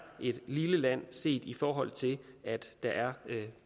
et lille land set i forhold til at der er